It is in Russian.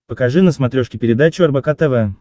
покажи на смотрешке передачу рбк тв